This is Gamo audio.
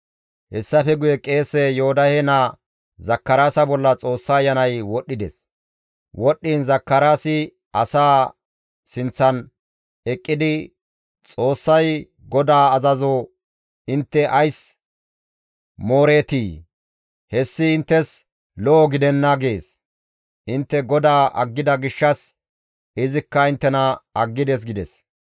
Hessafe guye qeese Yoodahe naa Zakaraasa bolla Xoossa Ayanay wodhdhides; histtiin Zakaraasi asaa sinththan eqqidi, «Xoossay, ‹GODAA azazo intte ays mooreetii? Hessi inttes lo7o gidenna› gees; intte GODAA aggida gishshas izikka inttena aggides» gides.